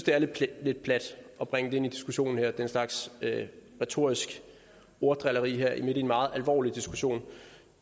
er lidt plat at bringe det ind i diskussionen her det er en slags retorisk orddrilleri her midt i en meget alvorlig diskussion